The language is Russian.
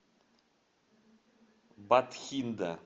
батхинда